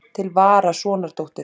Til vara, sonardóttir.